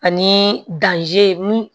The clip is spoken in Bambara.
Ani mun